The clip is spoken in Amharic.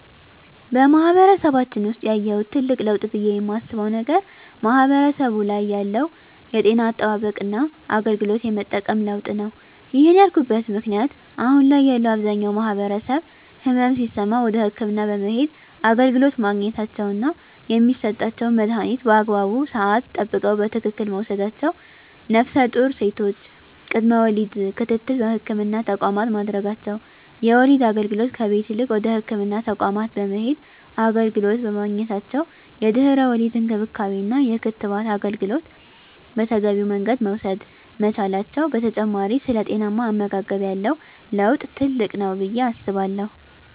በማህበረሰባችን ውሰጥ ያየሁት ትልቅ ለውጥ ብየ የማስበው ነገር ማህበረሰቡ ላይ ያለው የጤና አጠባበቅና አገልግሎት የመጠቀም ለውጥ ነው። ይህን ያልኩበት ምክንያት አሁን ላይ ያለው አብዛኛው ማህበረሰብ ህመም ሲሰማው ወደ ህክምና በመሄድ አገልግሎት ማግኘታቸውና የሚሰጣቸውን መድሀኒት በአግባቡ ስዓት ጠብቀው በትክክል መውሰዳቸው ነፍሰጡር ሴቶች ቅድመ ወሊድ ክትትል በህክምና ተቋማት ማድረጋቸው የወሊድ አገልግሎት ከቤት ይልቅ ወደ ህክምና ተቋማት በመሄድ አገልግሎት በማግኘታቸው የድህረ ወሊድ እንክብካቤና የክትባት አገልግሎት በተገቢው መንገድ መውሰድ መቻላቸው በተጨማሪ ስለ ጤናማ አመጋገብ ያለው ለውጥ ትልቅ ነው ብየ አስባለሁ።